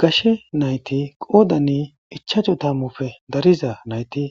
gashe nayti qoodanni ichacho tammufe dariza nayti